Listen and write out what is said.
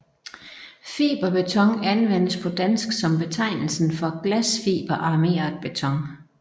Fiberbeton anvendes på dansk som betegnelse for Glasfiberarmeret Beton